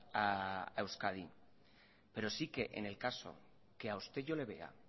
a euskadi pero sí que en el caso que a usted yo le vea